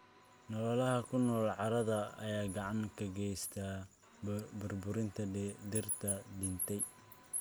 Noolaha ku nool carrada ayaa gacan ka geysta burburinta dhirta dhintay.